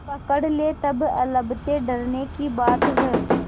पकड़ ले तब अलबत्ते डरने की बात है